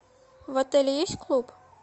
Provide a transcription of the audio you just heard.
в отеле есть клуб